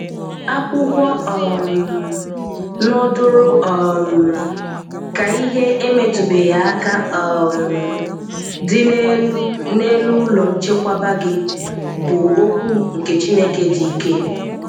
Akwụkwọ um nọdụrụ um ka ihe emetụbeghị aka um dị n'elu n'elu ụlọ nchekwaba gị bụ okwu nke Chineke dị ike.